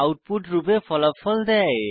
output রূপে ফলাফল দেয়